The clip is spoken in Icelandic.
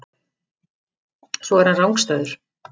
Svo er hann rangstæður.